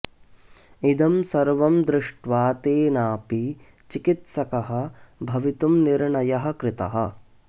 इदं सर्वं दृष्ट्वा तेनापि चिकित्सकः भवितुं निर्णयः कृतः